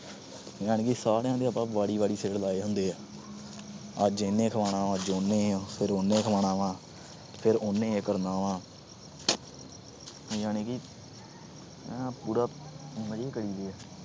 ਯਾਨੀ ਕਿ ਸਾਰੀਆਂ ਦੇ ਆਪਾ ਵਾਰੀ-ਵਾਰੀ ਸਿਰ ਲਾਏ ਹੁੰਦੇ ਆ। ਅੱਜ ਇਹਨੇ ਖੁਆਨਾ ਵਾ, ਅੱਜ ਉਹਨੇ, ਫਿਰ ਉਹਨੇ ਖੁਆਨਾ ਵਾ। ਫਿਰ ਉਹਨੇ ਇਹ ਕਰਨਾ ਵਾ। ਯਾਨੀ ਕਿ ਪੂਰਾ ਮਜੇ ਕਰੀ ਦੇ ਆ।